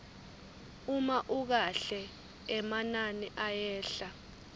uma ukahle emanani ayehla